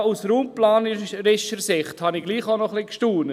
Aber auch aus raumplanerischer Sicht habe ich ein wenig gestaunt: